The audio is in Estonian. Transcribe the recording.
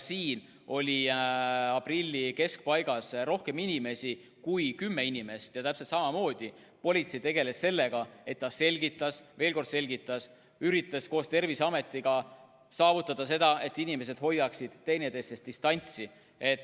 Siin oli aprilli keskpaigas rohkem inimesi kui kümme ja täpselt samamoodi politsei tegeles sellega, et ta selgitas, veel kord selgitas, üritas koos Terviseametiga saavutada seda, et inimesed hoiaksid distantsi.